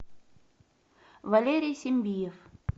валерий сембиев